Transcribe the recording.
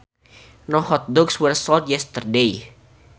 No hot dogs were sold yesterday